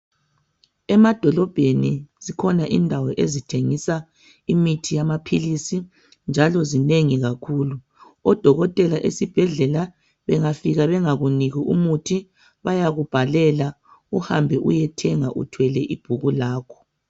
Emadolobheni zikhona indawo ezithengisa imithi yamaphilisi, njalo zinengi kakhulu. Odokotela esibhedlela bangafika bengakuniki imithi bayakubhalela. Uhambe uyethenga uthwele ibhuku lakho.